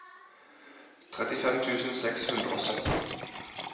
trettifem tusen seks hundre og sytten